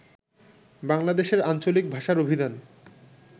বাংলাদেশের আঞ্চলিক ভাষার অভিধান